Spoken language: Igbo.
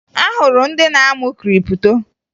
Ahụrụ ndị na-amụ kripto